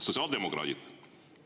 Sotsiaaldemokraadid!